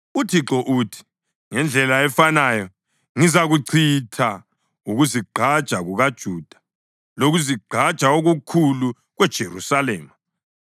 “ UThixo uthi: ‘Ngendlela efanayo ngizakuchitha ukuzigqaja kukaJuda lokuzigqaja okukhulu kweJerusalema.